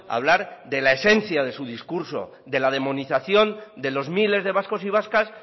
a hablar de la esencia de su discurso de la demonización de los miles de vascos y vascas